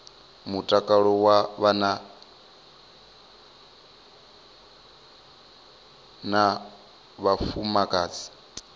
mutakalo wa vhana na vhafumakadzi